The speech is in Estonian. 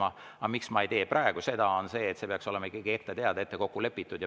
Aga, miks ma ei tee kohaloleku kontrolli praegu, on see, et see peaks olema ikkagi ette teada, ette kokku lepitud.